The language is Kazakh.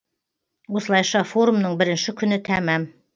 осылайша форумның бірінші күні тәмам